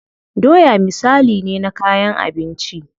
Doya misali ne na kayan abinci.